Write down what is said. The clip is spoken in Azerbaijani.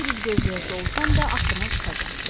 Bir il gözləyəsə olsam da axırına çıxacam.